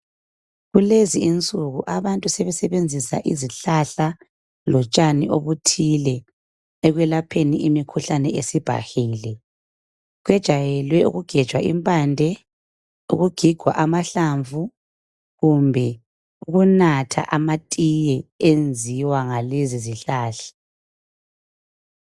Kulezinsuku abantu sebesebenzisa izihlahla lotshani obuthile ekwelapheni imikhuhlane esibhahile. Kujayelwe ukugebha impande, ukugiga amahlamvu kumbe ukunatha amatiye enziwa ngalezizihlahla.